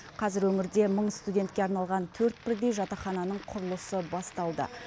қазір өңірде мың студентке арналған төрт бірдей жатақхананың құрылысы басталды